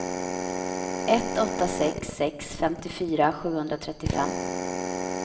ett åtta sex sex femtiofyra sjuhundratrettiofem